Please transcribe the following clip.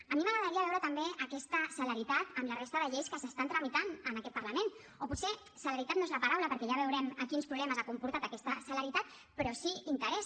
a mi m’agradaria veure també aquesta celeritat en la resta de lleis que s’estan tramitant en aquest parlament o potser celeritat no és la paraula perquè ja veurem quins problemes ha comportat aquesta celeritat però sí interès